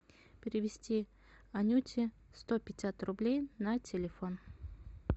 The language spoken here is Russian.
перевести анюте сто пятьдесят рублей на телефон